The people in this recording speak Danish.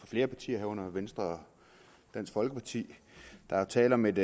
flere partier herunder venstre og dansk folkeparti der er tale om et